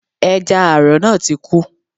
Ẹja àrọ̀ náà ti kú